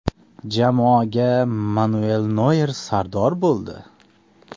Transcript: Jamoaga Manuel Noyer sardor bo‘ldi.